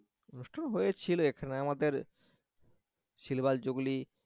অনুষ্ঠান হয়েছিল এখানে আমাদের silver জুগলি